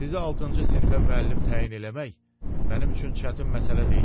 Sizi altıncı sinifə müəllim təyin eləmək mənim üçün çətin məsələ deyil.